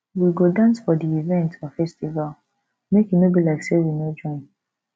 we go dance for di event or festival make e no be like sey we no join